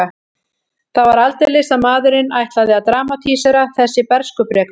Það var aldeilis að maðurinn ætlaði að dramatísera þessi bernskubrek mín.